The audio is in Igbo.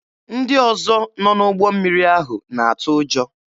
Ndị ọzọ nọ n'ụgbọ mmiri ahụ na-atụ ụjọ.